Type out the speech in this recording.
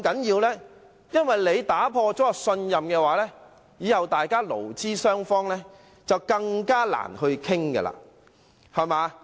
因為如果打破信任，勞資雙方日後便更難商討。